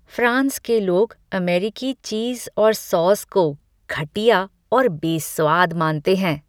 France के लोग अमेरिकी चीज़ और सॉस को घटिया और बेस्वाद मानते हैं।